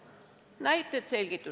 Esitan selgituseks mõne näite.